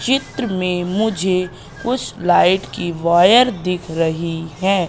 चित्र में मुझे कुछ लाइट की वायर दिख रही हैं।